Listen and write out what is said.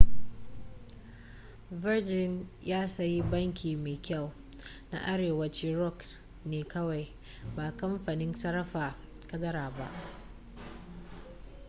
virgin ya sayi ' banki mai kyau' na arewacin rock ne kawai ba kamfanin sarrafa kadara ba